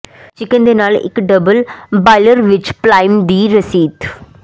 chicken ਦੇ ਨਾਲ ਇੱਕ ਡਬਲ ਬਾਇਲਰ ਵਿੱਚ ਪਲਾਇਮ ਦੀ ਰਸੀਤ